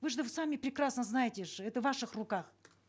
вы же сами прекрасно знаете же это в ваших руках